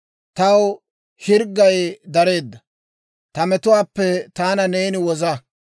Taw hirggay dareedda; ta metuwaappe taana neeni woza.